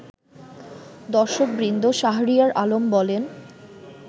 দর্শকবৃন্দ শাহরিয়ার আলম বলেন